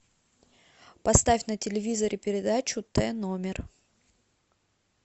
поставь на телевизоре передачу т номер